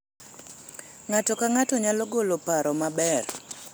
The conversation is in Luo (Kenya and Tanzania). ng'ato ka ng'ato nyalo golo paro maber